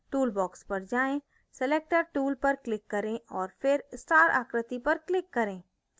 tool box पर जाएँ selector tool पर click करें और फिर star आकृति पर click करें